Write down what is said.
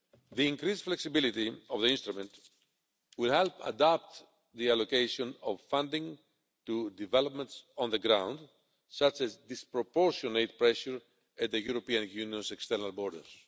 The increased flexibility of the instrument will help adapt the allocation of funding to developments on the ground, such as disproportionate pressure at the European Union's external borders.